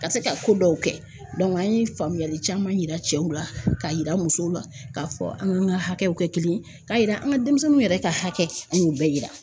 Ka se ka ko dɔw kɛ an ye faamuyali caman yira cɛw la, k'a yira musow la k'a fɔ an ka hakɛw kɛ kelen ye, k'a yira an ka denmisɛnninw yɛrɛ ka hakɛ an y'o bɛɛ yira.